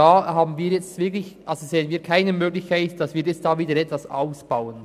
Wir sehen wirklich keine Möglichkeit, dort wieder auszubauen.